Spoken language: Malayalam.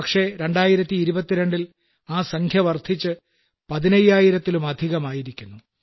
പക്ഷേ 2022ൽ ആ സംഖ്യ വർദ്ധിച്ച് പതിനയ്യായിരത്തിലുമധികമായിരിക്കുന്നു